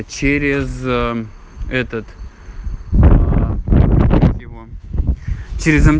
через этот через